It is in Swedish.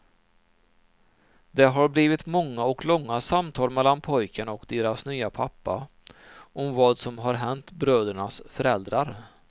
Det har blivit många och långa samtal mellan pojkarna och deras nya pappa om vad som har hänt brödernas föräldrar.